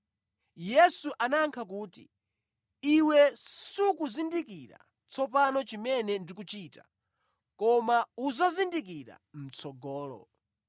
Yesu anayankha kuti, “Iwe sukuzindikira tsopano chimene ndikuchita, koma udzazindikira mʼtsogolo.”